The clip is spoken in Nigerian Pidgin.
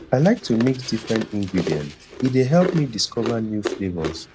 i like to mix different ingredients e dey help me discover new flavors